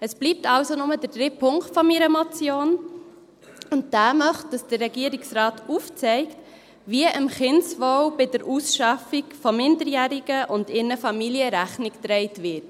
Es bleibt also nur der dritte Punkt meiner Motion, und dieser möchte, dass der Regierungsrat aufzeigt, wie dem Kindeswohl bei der Ausschaffung von Minderjährigen und ihren Familien Rechnung getragen wird.